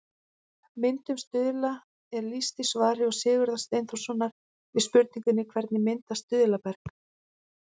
Myndun stuðla er lýst í svari Sigurðar Steinþórssonar við spurningunni Hvernig myndast stuðlaberg?